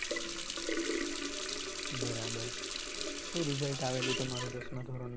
બરાબર શુ result આવેલું તમારું દસમાં ધોરણનું?